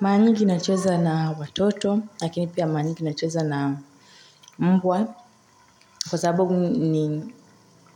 Mara nyingi nacheza na watoto, lakini pia mara nyingi nacheza na mbwa, kwa sababu